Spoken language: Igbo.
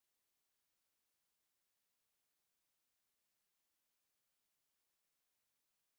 Maka Michael, ụbọchị ụka ezughị oke na-enweghị ewedu na amala.